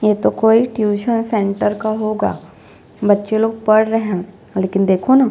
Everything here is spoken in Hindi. ये तो कोई टूशन सेंटर का होगा बच्चे लोग पढ़ रहै है लेकिन देखो न --